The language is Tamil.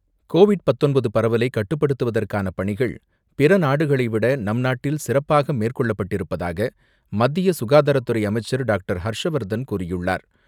கோவிட் பத்தொன்பது பரவலை கட்டுப்படுத்துவதற்கான பணிகள் பிற நாடுகளைவிட நம்நாட்டில் சிறப்பாக மேற்கொள்ளப்பட்டிருப்பதாக மத்திய சுகாதாரத்துறை அமைச்சர் டாக்டர் ஹர்ஷவர்தன் கூறியுள்ளார்.